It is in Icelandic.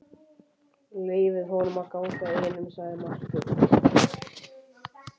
Leyfið honum að ganga einum, sagði Marteinn.